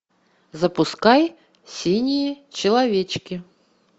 запускай синие человечки